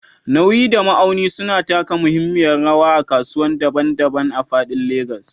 Nauyi da ma'auni suna taka muhimmiyar rawa a kasuwanni daban-daban a faɗin Legas.